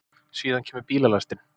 Síðan kemur bílalestin.